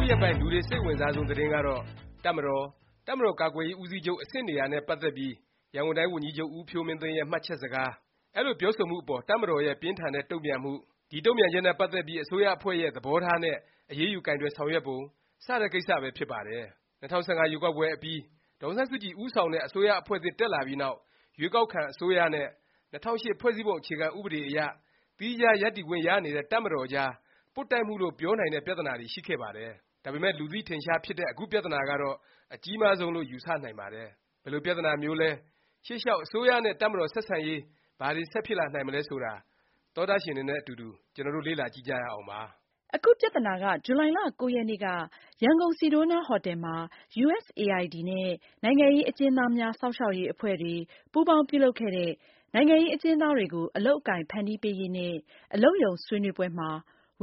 ုရက်ပိုင်း လူတွေ စိတ်အဝင်စားဆုံး သတင်းကတော့ တပ်မတော်၊ တပ်မတော် ကာကွယ်ရေး ဦးစီးချုပ် အဆင့်နေရာ နဲ့ ပတ်သက်ပြီး ရန်ကုန်တိုင်း ဝန်ကြီးချုပ် ဦးဖြိုးမင်းသိန်းရဲ့ မှတ်ချက်စကား၊ အဲလိုပြောဆိုမှုအပေါ် တပ်မတော်ရဲ့ ပြင်းထန်တဲ့ တုန့်ပြန်မှု၊ ဒီ တုန့်ပြန်ချက်နဲ့ ပတ်သက်ပြီး အစိုးရအဖွဲ့ရဲ့ သဘောထားနဲ့ အရေးယူ ကိုင်တွယ်ဆောင်ရွက်ပုံ စတဲ့ ကိစ္စပဲ ဖြစ်ပါတယ်။ ၂၀၁၅ ရွေးကောက်ပွဲအပြီး ဒေါ်အောင်ဆန်းစုကြည် ဦးဆောင်တဲ့ အစိုးရအဖွဲ့သစ် တက်လာပြီးနောက် ရွေးကောက်ခံ အစိုးရနဲ့ ၂၀၀၈ ဖွဲ့စည်းပုံ အခြေခံ ဥပဒေအရ သီးခြား ရပ်တည်ခွင့်ရနေတဲ့ တပ်မတော်ကြား ပွတ်တိုက်မှုလို့ ပြောနိုင်တဲ့ ပြသနာတွေ ရှိခဲ့ပါတယ်။ ဒါပေမယ့် လူသိထင်ရှားဖြစ်တဲ့ အခု ပြသနာကတော့ အကြီးမားဆုံး လို့ ယူဆ နိုင်ပါတယ်။ ဘယ်လို ပြသနာမျိုးလဲ၊ ရှေ့လျောက် အစိုးရနဲ့ တပ်မတော် ဆက်ဆံရေး ဘာတွေ ဆက်ဖြစ်လာနိုင်မလဲ ဆိုတာသောတရှင်တွေနဲ့ အတူတူ ကျွန်တော်တို့ လေ့လာကြည့်ကြရအောင်ပါ။ အခု ပြသနာဟာ ဇူလိုင်လ ၉ ရက်နေ့က ရန်ကုန် ဆီဒိုးနားဟော်တယ်မှာ USAID နဲ့ နိုင်ငံရေးအကျဉ်းသားများ စောင့်ရှောက်ရေး အဖွဲ့တွေ ပူးပေါင်းပြုလုပ်ခဲ့တဲ့ နိုင်ငံရေးအကျဉ်းသားတွေကို အလုပ်အကိုင် ဖန်တီးပေးရေး နဲ့ အလုပ်ရုံဆွေးနွေးပွဲမှာ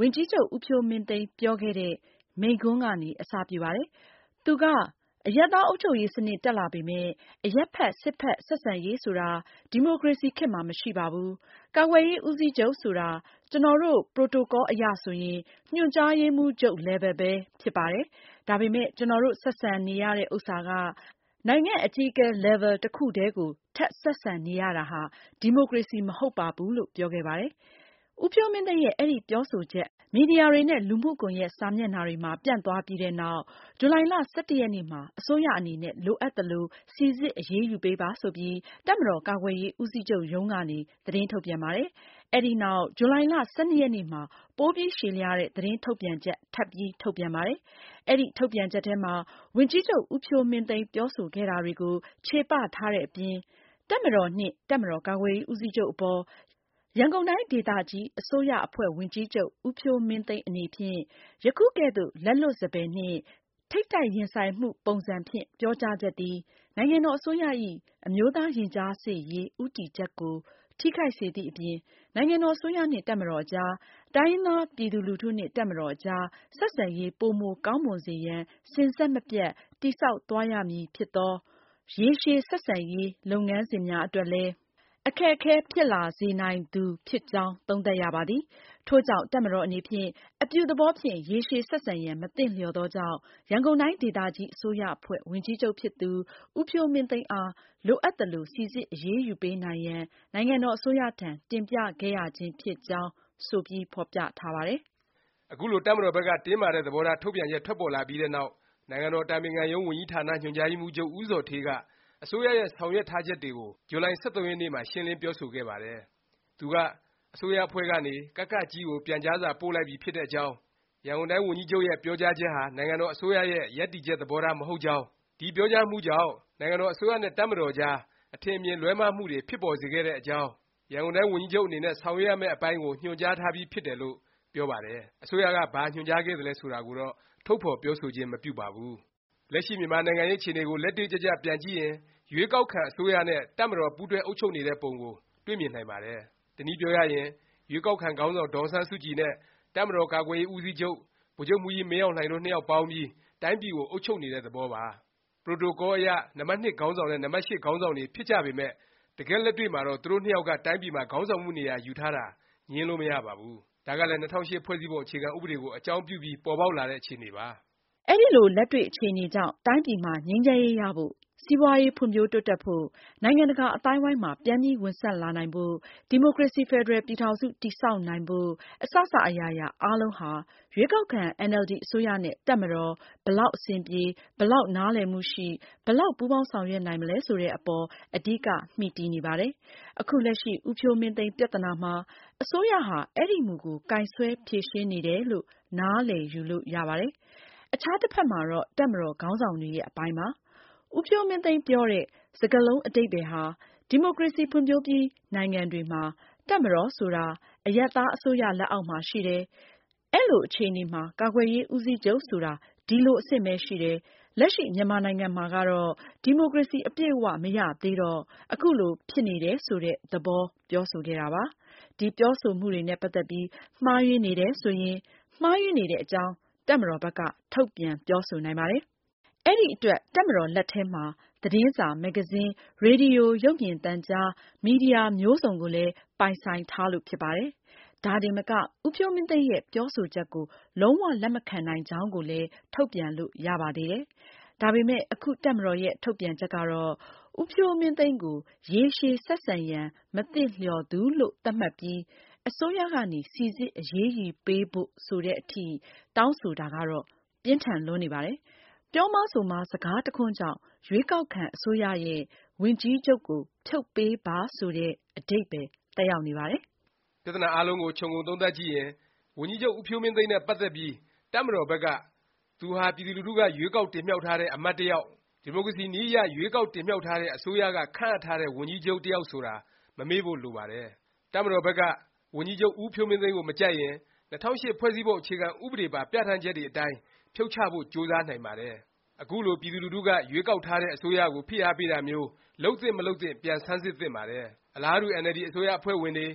ဝန်ကြီးချုပ် ဦးဖြိုးမင်းသိန်း ပြောခဲ့တဲ့ မိန့်ခွန်းကနေ အစ ပြုပါတယ်။ သူက “ အရပ်သား အုပ်ချုပ်ရေးစနစ် တက်လာပေမယ့် အရပ်ဘက် စစ်ဘက် ဆက်ဆံရေးဆိုတာ ဒီမိုကရေစီ ခေတ်မှာ မရှိပါဘူး။ ကာကွယ်ရေး ဦးစီးချုပ်ဆိုတာ ကျနော်တို့ Protocol အရဆိုရင် ညွှန်ကြားရေးမှူးချုပ် Level ပဲ ဖြစ်ပါတယ်။ ဒါပေမယ့် ကျနော်တို့ ဆက်ဆံနေရတဲ့ဥစ္စာက နိုင်ငံ့အကြီးအကဲ Level တစ်ခုထဲကို ထပ် ဆက်ဆံနေရတာဟာ ဒီမိုကရေစီ မဟုတ်ပါဘူး။” လို့ ပြောခဲ့ပါတယ်။ ဦးဖြိုးမင်းသိန်းရဲ့ အဲဒီပြောဆိုချက် မီဒီယာတွေနဲ့ လူမှုကွန်ယက် စာမျက်နှာတွေမှာ ပျံ့နှံ့သွားပြီးတဲ့နောက် ဇူလိုင် ၁၁ ရက်နေ့မှာ အစိုးရအနေနဲ့ လိုအပ်သလို စိစစ် အရေးယူ ပေးပါ ဆိုပြီး တပ်မတော်ကာကွယ်ရေးဦးစီးချုပ်ရုံးကနေ သတင်းထုတ်ပြန်ပါတယ်။ အဲဒီနောက် ဇူလိုင် ၁၂ ရက်နေ့မှာ ပိုပြီး ရှည်လျားတဲ့ သတင်းထုတ်ပြန်ချက် ထပ်ပြီး ထုတ်ပြန်ပါတယ်။ အဲဒီ ထုတ်ပြန်ချက်ထဲမှာ ဝန်ကြီးချုပ် ဦးဖြိုးမင်းသိန်း ပြောဆိုခဲ့တာတွေကို ခြေပ ထားတဲ့အပြင် “တပ်မတော်နှင့် တပ်မတော်ကာကွယ်ရေးဦးစီးချုပ်အပေါ် ရန်ကုန်တိုင်းဒေသကြီး အစိုးရအဖွဲ့ဝန်ကြီးချုပ် ဦးဖြိုးမင်းသိန်းအနေဖြင့် ယခုကဲ့သို့ လက်လွတ်စပယ်နှင့် ထိပ်တိုက်ရင်ဆိုင်မှုပုံစံဖြင့် ပြောကြားချက်သည် နိုင်ငံတော်အစိုးရ၏ အမျိုးသားရင်ကြားစေ့ရေး ဦးတည်ချက်ကို ထိခိုက်စေသည့်အပြင် နိုင်ငံတော်အစိုးရနှင့် တပ်မတော်အကြား၊ တိုင်းရင်းသား ပြည်သူလူထုနှင့် တပ်မတော်အကြား ဆက်ဆံရေးပိုမိုကောင်းမွန်စေရန် စဉ်ဆက်မပြတ် တည်ဆောက်သွားရမည်ဖြစ်သော ရေရှည်ဆက်ဆံရေး လုပ်ငန်းစဉ်များအတွက်လည်း အခက်အခဲဖြစ်လာစေနိုင်သူ ဖြစ်ကြောင်း သုံးသပ်ရပါသည်။ ထို့ကြောင့် တပ်မတော်အနေဖြင့် အပြုသဘောဖြင့် ရေရှည်ဆက်ဆံရန် မသင့်လျော်သောကြောင့် ရန်ကုန်တိုင်းဒေသကြီးအစိုးရအဖွဲ့ ဝန်ကြီးချုပ်ဖြစ်သူ ဦးဖြိုးမင်းသိန်းအား လိုအပ်သလို စိစစ်အရေးယူပေးနိုင်ရန် နိုင်ငံတော်အစိုးရထံ တင်ပြခဲ့ရခြင်းဖြစ်ကြောင်း” ဆိုပြီး ဖော်ပြထားပါတယ်။ အခုလို တပ်မတော်ဘက်က တင်းမာတဲ့ သဘောထား ထုတ်ပြန်ချက် ထွက်ပေါ်လာပြီးတဲ့နောက် နိုင်ငံတော် အတိုင်ပင်ခံရုံး ဝန်ကြီးဌာန ညွှန်ကြားရေးမှူးချုပ် ဦးဇော်ဌေးက အစိုးရရဲ့ ဆောင်ရွက်ထားချက်တွေကို ဇူလိုင် ၁၃ ရက်နေ့မှာ ရှင်းလင်း ပြောဆိုခဲ့ပါတယ်။ သူက အစိုးရအဖွဲ့ကနေ ကက(ကြည်း) ကို ပြန်ကြားစာ ပို့လိုက်ပြီ ဖြစ်တဲ့အကြောင်း၊ ရန်ကုန်တိုင်း ဝန်ကြီးချုပ်ရဲ့ ပြောကြားချက်ဟာ နိုင်ငံတော် အစိုးရရဲ့ ရပ်တည်ချက် သဘောထား မဟုတ်ကြောင်း၊ ဒီပြောကြားမှုကြောင့် နိုင်ငံတော် အစိုးရနဲ့ တပ်မတော်ကြား အထင်အမြင် လွဲမှားမှုတွေ ဖြစ်ပေါ်စေခဲ့တဲ့အကြောင်း၊ ရန်ကုန်တိုင်း ဝန်ကြီးချုပ်အနေနဲ့ ဆောင်ရွက်ရမယ့် အပိုင်းကို ညွှန်ကြားထားပြီး ဖြစ်တယ်လို့ ပြောပါတယ်။ အစိုးရက ဘာ ညွှန်ကြားခဲ့သလဲ ဆိုတာကိုတော့ ထုတ်ဖော်ပြောဆိုခြင်း မပြုပါဘူး။ လက်ရှိ မြန်မာနိုင်ငံ နိုင်ငံရေးအခြေအနေကို လက်တွေ့ကျကျ ပြန်ကြည့်ရင် ရွေးကောက်ခံ အစိုးရနဲ့ တပ်မတော် ပူးတွဲ အုပ်ချုပ်နေတဲ့ပုံကို တွေ့မြင်နိုင်ပါတယ်။ တနည်းပြောရရင် ရွေးကောက်ခံ ခေါင်းဆောင် ဒေါ်အောင်ဆန်းစုကြည်နဲ့ တပ်မတော်ကာကွယ်ရေး ဦးစီးချုပ် ဗိုလ်ချုပ်မှူးကြီး မင်းအောင်လှိုင်တို့ နှစ်ယောက် ပေါင်းပြီး တိုင်းပြည်ကို အုပ်ချုပ်နေတဲ့ သဘောပါ။ Protocol အရ နံပါတ်(၂) ခေါင်းဆောင်နဲ့ နံပါတ် (၈) ခေါင်းဆောင်တွေ ဖြစ်ကြပေမယ့် တကယ့်လက်တွေ့မှာတော့ သူတို့နှစ်ယောက်က တိုင်းပြည်မှာ ခေါင်းဆောင်မှု နေရာ ယူထားတာ ငြင်းလို့ မရပါဘူး။ ဒါကလည်း ၂၀၀၈ ဖွဲ့စည်းပုံ အခြေခံ ဥပဒေကို အကြောင်းပြုပြီး ပေါ်ပေါက်လာတဲ့ အခြေအနေပါ။ အဲဒီလို လက်တွေ့အခြေအနေကြောင့် တိုင်းပြည်မှာ ငြိမ်းချမ်းရေး ရဖို့၊ စီးပွားရေး ဖွံ့ဖြိုးတိုးတက်ဖို့၊ နိုင်ငံတကာ အသိုင်းအဝိုင်းမှာ ပြန်ပြီး ဝင်ဆံ့လာနိုင်ဖို့၊ ဒီမိုကရေစီ ဖက်ဒရယ်ပြည်ထောင်စု တည်ဆောက်နိုင်ဖို့ အစစ အရာရာ အားလုံးဟာ ရွေးကောက်ခံ NLD အစိုးရနဲ့ တပ်မတော် ဘယ်လောက် အဆင်ပြေ၊ ဘယ်လောက် နားလည်မှုရှိ၊ ဘယ်လောက် ပူးပေါင်းဆောင်ရွက်နိုင်မလဲ ဆိုတဲ့အပေါ် အဓိက မှီတည်နေပါတယ်။ အခုလက်ရှိ ဦးဖြိုးမင်းသိန်း ပြသနာမှာ အစိုးရဟာ အဲဒီမူကို ကိုင်စွဲဖြေရှင်းနေတယ်လို့ နားလည်ယူလို့ ရပါတယ်။ အခြားတဖက်မှာတော့ တပ်မတော်ခေါင်းဆောင်တွေရဲ့ အပိုင်းပါ။ ဦးဖြိုးမင်းသိန်း ပြောတဲ့ စကားလုံး အဓိပ္ပါယ်ဟာ ဒီမိုကရေစီ ဖွံ့ဖြိုးပြီး နိုင်ငံတွေမှာ တပ်မတော်ဆိုတာ အရပ်သား အစိုးရ လက်အောက်မှာ ရှိတယ်၊ အဲလို အခြေအနေမှာ ကာကွယ်ရေး ဦးစီးချုပ်ဆိုတာ ဒီလို အဆင့်ပဲ ရှိတယ်၊ လက်ရှိ မြန်မာနိုင်ငံမှာကတော့ ဒီမိုကရေစီ အပြည့်အ၀ မရသေးတော့ အခုလို ဖြစ်နေတယ် ဆိုတဲ့ သဘော ပြောဆိုခဲ့တာပါ။ ဒီ ပြောဆိုမှုတွေနဲ့ ပတ်သက်ပြီး မှားယွင်းနေတယ် ဆိုရင် မှားယွင်းနေတဲ့အကြောင်း တပ်မတော်ဘက်က ထုတ်ပြန် ပြောဆိုနိုင်ပါတယ်။ အဲဒီအတွက် တပ်မတော်လက်ထဲမှာ သတင်းစာ၊ မဂ္ဂဇင်း၊ ရေဒီယို၊ ရုပ်မြင်သံကြား မီဒီယာ မျိုးစုံကိုလည်း ပိုင်ဆိုင်ထားလို့ ဖြစ်ပါတယ်။ ဒါတင်မက ဦးဖြိုးမင်းသိန်းရဲ့ ပြောဆိုချက်ကို လုံး၀ လက်မခံနိုင်ကြောင်းကိုလည်း ထုတ်ပြန်လို့ ရပါသေးတယ်။ ဒါပေမယ့် အခု တပ်မတော်ရဲ့ ထုတ်ပြန်ချက်ကတော့ ဦးဖြိုးမင်းသိန်းကို “ ရေရှည်ဆက်ဆံရန် မသင့်လျော်သူ” လို့ သတ်မှတ်ပြီး အစိုးရကနေ စိစစ်အရေးယူပေးဖို့ ဆိုတဲ့အထိ တောင်းဆိုတာကတော့ ပြင်းထန်လွန်းနေပါတယ်။ ပြောမှား ဆိုမှား စကားတခွန်းကြောင့် ရွေးကောက်ခံ အစိုးရရဲ့ ဝန်ကြီးချုပ်ကို ဖြုတ်ပေးပါ ဆိုတဲ့ အဓိပ္ပါယ် သက်ရောက်နေပါတယ်။ ပြဿနာအားလုံးကို ခြုံငုံသုံးသပ်ကြည့်ရင် ဝန်ကြီးချုပ် ဦးဖြိုးမင်းသိန်းနဲ့ ပတ်သက်ပြီး တပ်မတော်ဘက်က သူဟာ ပြည်သူလူထုက ရွေးကောက်တင်မြှောက်ထားတဲ့ အမတ်တယောက်၊ ဒီမိုကရေစီနည်းအရ ရွေးကောက်တင်မြှောက်ထားတဲ့ အစိုးရက ခန့်အပ်ထားတဲ့ ဝန်ကြီးချုပ် တယောက် ဆိုတာ မမေ့ဖို့ လိုပါတယ်။ တပ်မတော်ဘက်က ဝန်ကြီးချုပ် ဖြိုးမင်းသိန်းကို မကြိုက်ရင် ၂၀၀၈ ဖွဲ့စည်းပုံ အခြေခံ ဥပဒေပါ ပြဌာန်းချက်တွေအတိုင်း ဖြုတ်ချဖို့ ကြိုးစားနိုင်ပါတယ်။ အခုလို ပြည်သူလူထုက ရွေးကောက်ထားတဲ့ အစိုးရကို ဖိအားပေးတာမျိုး လုပ်သင့် မလုပ်သင့် ပြန်ဆန်းစစ်သင့်ပါတယ်။ အလားတူ NLD အစိုးရအဖွဲ့ဝင်တွေ၊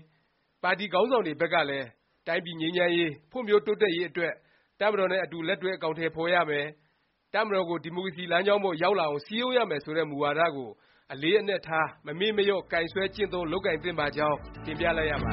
ပါတီ ခေါင်းဆောင်တွေ ဘက်ကလည်း တိုင်းပြည် ငြိမ်းချမ်းရေး၊ ဖွံ့ဖြိုးတိုးတက်ရေးအတွက် တပ်မတော်နဲ့ အတူ လက်တွဲ အကောင်အထည်ဖော်ရမယ်၊ တပ်မတော်ကို ဒီမိုကရေစီ လမ်းကြောင်းပေါ်ကို ရောက်လာအောင် စည်းရုံးရမယ် ဆိုတဲ့ မူဝါဒ ကို အလေးအနက်ထား၊ မမေ့မလျော့ ကိုင်စွဲ ကျင့်သုံး၊ လုပ်ကိုင်သင့်ပါကြောင်း တင်ပြလိုက်ရပါ